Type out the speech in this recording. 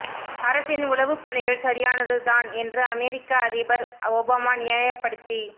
அரசின் உளவுப் பணிகள் சரியானது தான் என்று அமெரிக்க அதிபர் ஒபாமா நியாயப்படுத்திப்